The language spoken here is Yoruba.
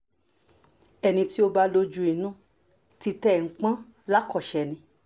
ẹni tí ó bá lójú inú títa ẹ̀ ń pọ́n yàn lákọṣe ni